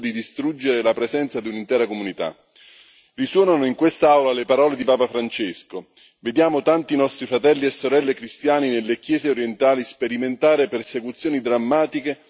Risuonano in quest'Aula le parole di papa Francesco vediamo tanti nostri fratelli e sorelle cristiani nelle chiese orientali sperimentare persecuzioni drammatiche e una diaspora sempre più inquietante.